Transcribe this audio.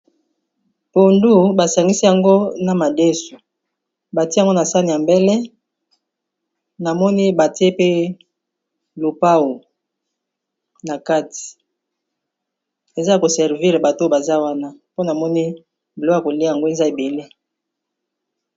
Pondu basangisi yango na madesu. Ba tie yango na sani ya mbele, na moni batie pe lopao na kati ; eza yako servir bato baza wana. Po na moni boto ya kolia yango baza ebele.